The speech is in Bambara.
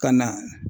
Ka na